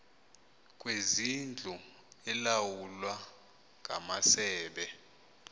kwezindlu elawulwa ngamasebe